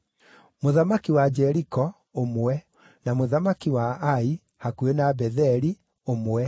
mũthamaki wa Jeriko, ũmwe, na mũthamaki wa Ai (hakuhĩ na Betheli), ũmwe,